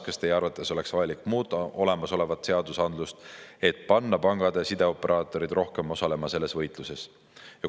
Kas Teie arvates oleks vajalik muuta olemasolevat seadusandlust, et panna pangad ja sideoperaatorid rohkem osalema selles võitluses?